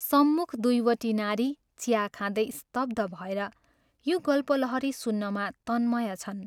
सम्मुख दुइवटी नारी चिया खाँदै स्तब्ध भएर यो गल्पलहरी सुत्रमा तन्मय छन्।